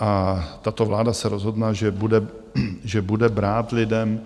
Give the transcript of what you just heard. A tato vláda se rozhodla, že bude brát lidem